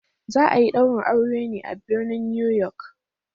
Za a yi daurin auren ne a birnin New York.